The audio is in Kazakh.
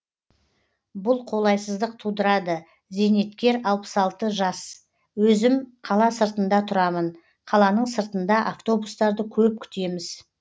бұл қолайсыздық тудырады зейнеткер алпыс алты жас өзім қала сыртында тұрамын қаланың сыртында автобустарды көп күтеміз